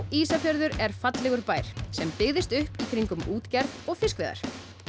Ísafjörður er fallegur bær sem byggðist upp í kringum útgerð og fiskveiðar